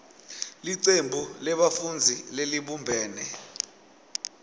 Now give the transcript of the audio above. licembu lebafundzi lelibumbene